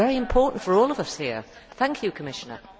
This is very important for all of us here. Thank you Commissioner.